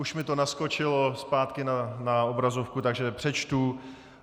Už mi to naskočilo zpátky na obrazovku, takže přečtu: